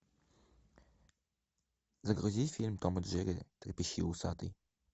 загрузи фильм том и джерри трепещи усатый